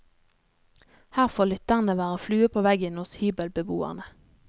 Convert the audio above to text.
Her får lytterne være flue på veggen hos hybelbeboerne.